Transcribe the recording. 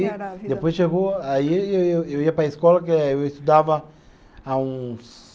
depois chegou, aí eu eu ia para a escola, que eu estudava há uns...